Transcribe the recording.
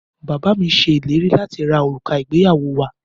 Bàbá mi ṣe ìlérí lati ra òrùka ìgbéyàwó wa.